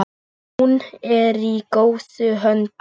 Hún er í góðum höndum.